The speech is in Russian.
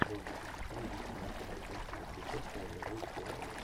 можешь включить фильм где снимался алексей серебряков тайная жизнь коалы